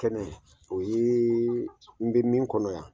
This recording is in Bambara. Kɛnɛ o ye n bɛ min kɔnɔ yan.